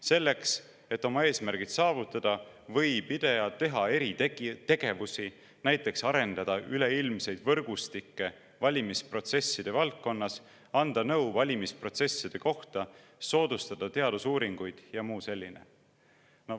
Selleks et oma eesmärgid saavutada, võib IDEA teha eri tegevusi, näiteks arendada üleilmseid võrgustikke valimisprotsesside valdkonnas, anda nõu valimisprotsesside kohta, soodustada teadusuuringuid jms.